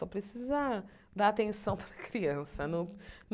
Só precisa dar atenção para a criança. Não